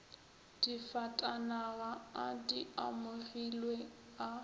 difatanaga a di amogilwe a